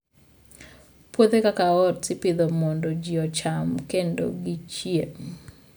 Puothe kaka oats ipidho mondo ji ocham kendo gichiem.